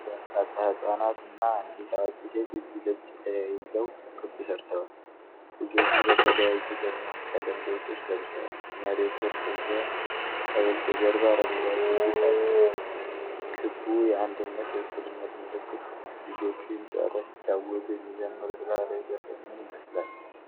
በርካታ ሕፃናት እና አንዲት አዋቂ ሴት እጅ ለእጅ ተያይዘው ክብ ሠርተዋል። ልጆቹ በተለያየ ደማቅ ቀለም ልብሶች ለብሰዋል። መሬቱ እርጥብ ሲሆን፣ ከበስተጀርባ አረንጓዴ ቤት አለ። ክቡ የአንድነትና የእኩልነት ምልክት ሆኗል። ልጆቹ ይህንን ጨዋታ ሲጫወቱ የሚዘምሩት ባህላዊ ዘፈን ምን ይመስላል?